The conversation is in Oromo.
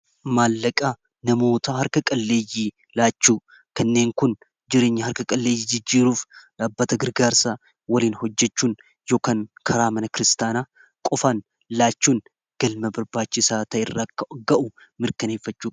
maallaqaa namoota harka qalleeyyii laachu kanneen kun jireenya harka qalleeyyii jijjiiruuf dhaabbata girgaarsaa waliin hojjachuun yookaan karaa mana kristaanaa qofaan laachuun galma barbaachi isaa kanarra akka ga'u mirkaneeffachu